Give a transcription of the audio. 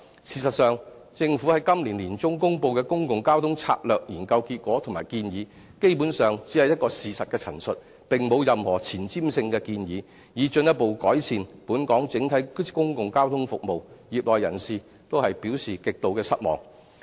事實上，政府於今年年中公布的《公共交通策略研究》結果及建議，基本上只是一個事實的陳述，並無任何前瞻性的建議，以進一步改善本港整體的公共交通服務，業內人士均表示極度失望。